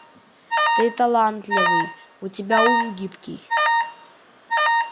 ты талантливый у тебя ум гибкий